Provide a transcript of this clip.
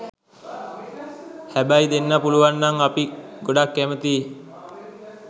හැබැයි දෙන්න පුළුවන්නම් අපි ගොඩක් කැමතියි.